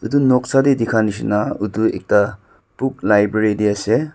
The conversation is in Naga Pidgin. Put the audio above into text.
edu noksa tae dikha nishina edu ekta book library tae ase.